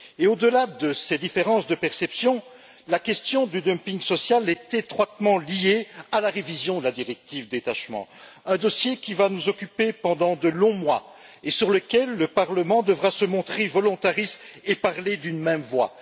Au delà de ces différences de perception, la question du dumping social est étroitement liée à la révision de la directive sur le détachement, un dossier qui va nous occuper pendant de longs mois et sur lequel le Parlement devra se montrer volontariste et parler d'une même voix.